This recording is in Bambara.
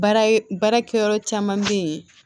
Baara baarakɛ yɔrɔ caman be yen